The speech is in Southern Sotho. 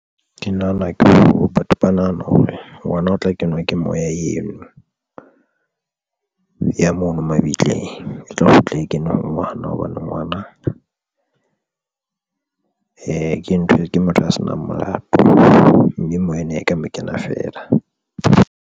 Ke nahana ke hore batho ba nahana hore ngwana o tla kenwa ke moya eno ya mono mabitleng e tla kgutla e kene ho ngwana, hobane ngwana o ke ntho e ke motho a senang molato mme moya na e ka mo kena feela.